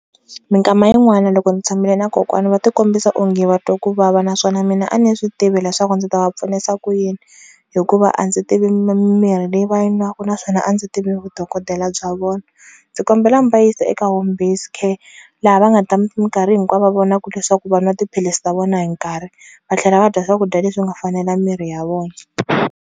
Minkama yin'wana loko ni tshamile na kokwana va ti kombisa onge va twa kuvava naswona mina a ni swi tivi leswaku ndzi ta va pfunisa ku yini, hikuva a ndzi tivi mimirhi leyi va yi nwaka naswona a ndzi tivi vudokodela bya vona. Ndzi kombela mi va yisa eka home based care, laha va nga ta minkarhi hinkwawo va vonaka leswaku va nwa tiphilisi ta vona hi nkarhi va tlhela va dya swakudya leswi nga fanela mirhi ya vona.